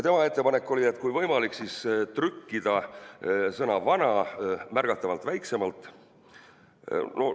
Tema ettepanek oli, et kui võimalik, siis trükkida sõna "vana" märgatavalt väiksemalt.